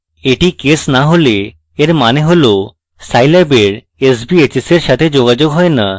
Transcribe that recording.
এটি case না হলে এর means হল scilab এর sbhs এর সাথে যোগাযোগ হয় না